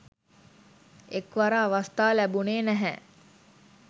එක්වර අවස්ථා ලැබුණේ නැහැ